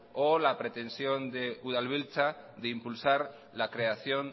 o la pretensión de udalbiltza de impulsar la creación